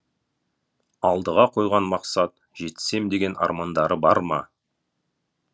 алдыға қойған мақсат жетсем деген армандары бар ма